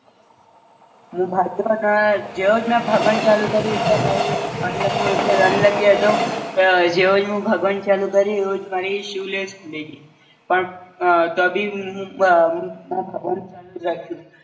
મું ભાગ્યો અને જેવો મેં ભાગવાનું ચાલુ કર્યું ત મારી મતલબ હું એવો Unlucky હતો ક જેવો જ મું ભાગવાનું ચાલુ કર્યું એવું જ મારી શુ લેસ ખૂલી ગઈ પણ અ તો ભી હું અ મે ભાગવાનું ચાલુ જ રાખ્યું